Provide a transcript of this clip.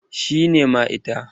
Shi ne mai ita.